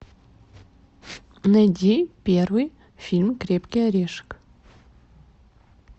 найди первый фильм крепкий орешек